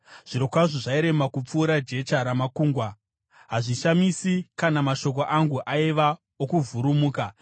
Zvirokwazvo zvairema kupfuura jecha ramakungwa, hazvishamisi kana mashoko angu aiva okuvhurumuka.